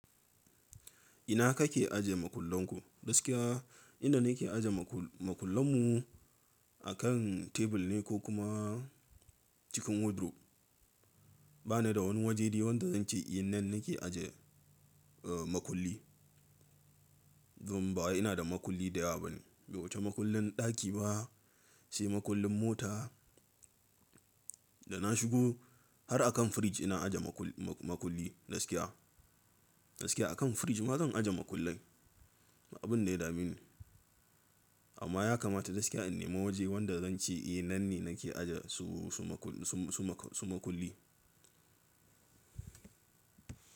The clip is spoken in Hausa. Ina kake aje makullanku? Gaskiya inda nake aje makullan mu akan tebur ne ko kuma cikin wardrobe. Ba ni da wani waje wanda zan ce eh nan nake aje makulli. Dom bawai ina da makulli da yawa bane, bai wuce makullin ɗaki ba sai makullin mota. Da na shigo har akan fridge ina aje makulli gaskiya. Gaskiya akan fridge ma zan aje makullai abun ne dami ne. Amma ya kamata gaskiya in nema waje wanda zan ce eh nan ne nake aje su makulli.